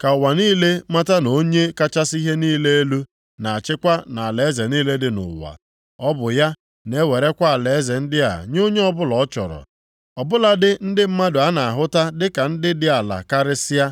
ka ụwa niile mata na Onye kachasị ihe niile elu, na-achịkwa nʼalaeze niile dị nʼụwa. Ọ bụ ya na-ewerekwa alaeze ndị a nye onye ọbụla ọ chọrọ, ọ bụladị ndị mmadụ a na-ahụta dịka ndị dị ala karịsịa.’